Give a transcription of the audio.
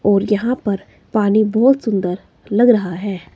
और यहां पर पानी बहुत सुंदर लग रहा है।